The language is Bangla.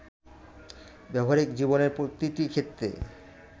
ব্যবহারিক জীবনের প্রতিটি ক্ষেত্রে